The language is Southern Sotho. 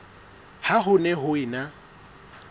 ha ho ne ho ena